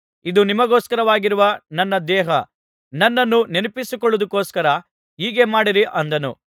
ಇದು ನಿಮಗೋಸ್ಕರವಾಗಿರುವ ನನ್ನ ದೇಹ ನನ್ನನ್ನು ನೆನಪಿಸಿಕೊಳ್ಳುವುದಕ್ಕೋಸ್ಕರ ಹೀಗೆ ಮಾಡಿರಿ ಅಂದನು